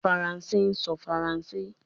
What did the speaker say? Faranse sọ Faranse